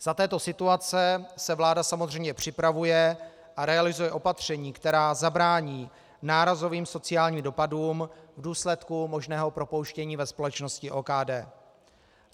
Za této situace se vláda samozřejmě připravuje a realizuje opatření, která zabrání nárazovým sociálním dopadům v důsledku možného propouštění ve společnosti OKD.